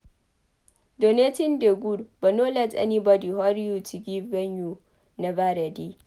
donating dey good but no let anybody hurry you to give wen you nova ready